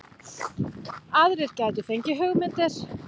Aðrir gætu fengið hugmyndir